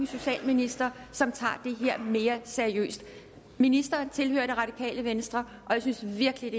socialminister som tager det her mere seriøst ministeren tilhører det radikale venstre og jeg synes virkelig